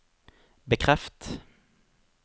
bekreft